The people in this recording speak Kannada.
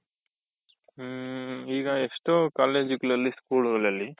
ಹ್ಮ್. ಈಗ ಎಷ್ಟೋ college ಗಳಲ್ಲಿ, school ಗಳಲ್ಲಿ